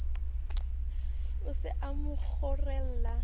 o se a mo kgorohela